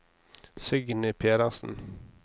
Signy Pedersen